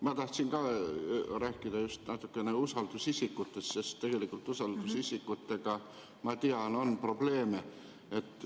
Ma tahtsin ka rääkida natukene just usaldusisikutest, sest tegelikult usaldusisikutega, ma tean, on probleeme.